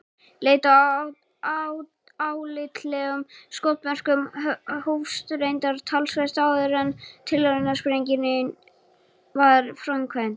Leit að álitlegum skotmörkum hófst reyndar talsvert áður en tilraunasprengingin var framkvæmd.